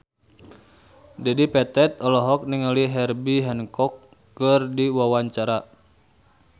Dedi Petet olohok ningali Herbie Hancock keur diwawancara